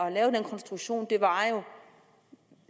at lave den konstruktion var